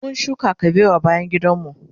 mun shuka kabewa bayan gidan mu